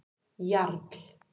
Jarl